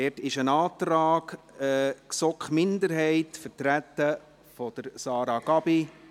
Hier liegt ein Antrag GSoK-Minderheit vor, vertreten durch Sarah Gabi.